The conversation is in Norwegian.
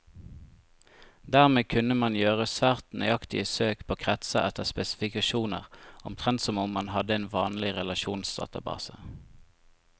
Dermed kunne man gjøre svært nøyaktige søk på kretser etter spesifikasjoner, omtrent som om man hadde en vanlig relasjonsdatabase.